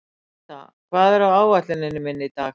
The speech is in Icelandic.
Síta, hvað er á áætluninni minni í dag?